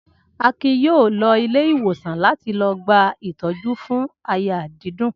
Akin yóò lọ ilé-ìwòsàn láti lọ gba ìtọ́jú fún àyà dídùn.